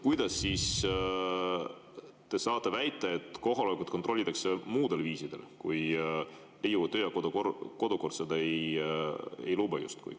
Kuidas te saate väita, et kohalolekut kontrollitakse muul viisil, kui Riigikogu töö‑ ja kodukord seda justkui ei luba?